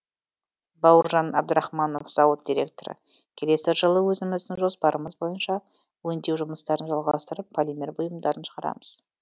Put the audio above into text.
бауыржан әбдірахманов зауыт директоры келесі жылы өзіміздің жоспарымыз бойынша өңдеу жұмыстарын жалғастырып полимер бұйымдарын шығарамыз